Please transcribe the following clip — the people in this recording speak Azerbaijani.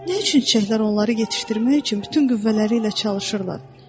nə üçün çiçəklər onları yetişdirmək üçün bütün qüvvələri ilə çalışırlar?